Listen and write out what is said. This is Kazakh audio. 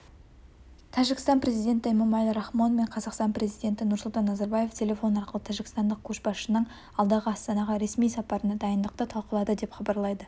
тәжікстан президенті эмомали рахмон мен қазақстан президенті нұрсұлтан назарбаев телефон арқылы тәжікстандық көшбасшысының алдағы астанаға ресми сапарына дайындықты талқылады деп хабарлайды